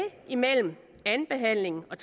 imellem anden behandling og